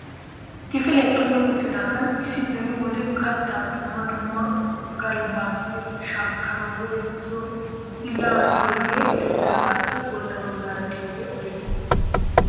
Kifilee xumi uttidaagan issi beni wode kattaa dumma dumma galabbaappe shaakkanawu go"ettiyo gillaa giyooge de'iyaagappe bolla baggaara de'iyaage aybe ?